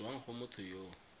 tswang go motho yo o